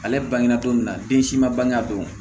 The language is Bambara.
Ale bange na cogo min na den si ma bange o